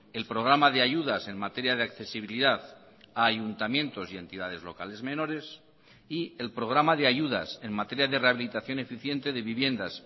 el programa de ayudas en materia de accesibilidad a ayuntamientos y entidades locales menores y el programa de ayudas en materia de rehabilitación eficiente de viviendas